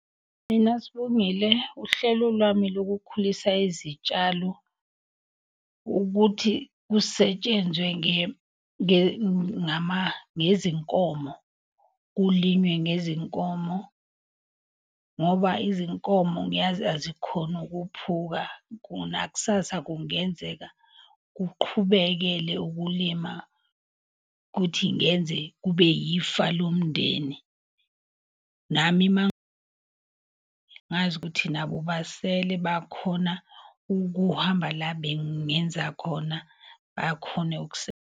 Mina Sibongile, uhlelo lwami lokukhulisa izitshalo ukuthi kusetshenzwe ngezinkomo. Kulime ngezinkomo ngoba izinkomo ngiyazi azikhoni ukuphuka nakusasa kungenzeka kuqhubekele ukulima. Kuthi ngenze kube ifa lomndeni nami ukuthi nabo basele bakhona ukuhamba la bengenza khona bakhone .